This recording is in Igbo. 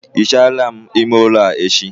Hichaara m ime ụlọ a echi